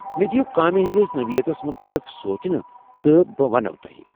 مےٚ دِیو کامہِ ہٕنٛدس نوعٮ۪تس متعلق سونٛچنہٕ تہٕ بہٕ ونووٕ تۄہہِ۔